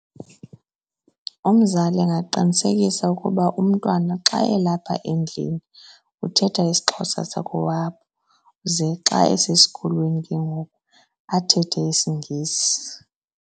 Umzali angaqinisekisa ukuba umntwana xa elapha endlini uthetha isiXhosa sakowabo ze xa esesikolweni ke ngoku, athethe isiNgesi.